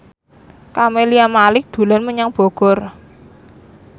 Camelia Malik dolan menyang Bogor